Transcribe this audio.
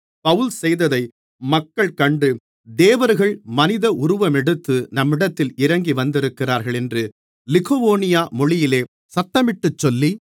பவுல் செய்ததை மக்கள் கண்டு தேவர்கள் மனித உருவமெடுத்து நம்மிடத்தில் இறங்கி வந்திருக்கிறார்கள் என்று லிக்கவோனியா மொழியிலே சத்தமிட்டுச் சொல்லி